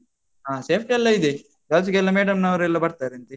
ಹ safety ಎಲ್ಲಾ ಇದೆ. girls ಗೆಲ್ಲಾ ಮೇಡಮ್ನವರೆಲ್ಲಾ ಬರ್ತಾರಂತೆ.